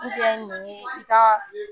An se la ni niɲe i kaa